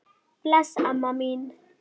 Bless amma mín.